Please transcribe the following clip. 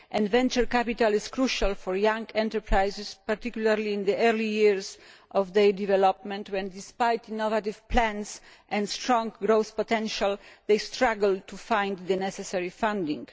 Venture capital is crucial for young enterprises, particularly in the early years of their development when, despite innovative plans and strong growth potential, they struggle to find the necessary funding.